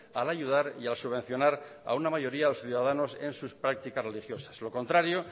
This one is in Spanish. al ayudar y al subvencionar a una mayoría a los ciudadanos en sus prácticas religiosas lo contrario